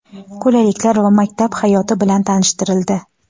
qulayliklar va maktab hayoti bilan tanishtirildi.